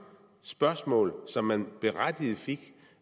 spørgsmål som man berettiget fik